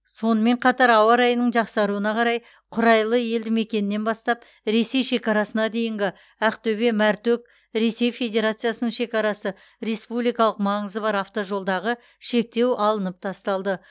сонымен қатар ауа райының жақсаруына қарай құрайлы елдімекенінен бастап ресей шекарасына дейінгі ақтөбе мәртөк ресей федерациясының шекарасы республикалық маңызы бар автожолдағы шектеу алынып тасталды